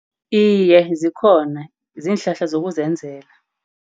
Iye, zikhona. Ziinhlahla zokuzenzela.